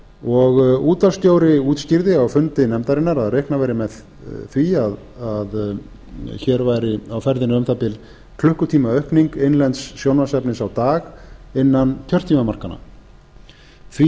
ári útvarpsstjóri útskýrði á fundi nefndarinnar að reiknað væri meðþví að hér væri á ferðinni um það bil klukkutímaaukningu innlends sjónvarpsefnis á dag innan kjörtímamarkanna og því